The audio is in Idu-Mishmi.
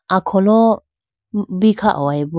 akholo bi kha hoyi bo.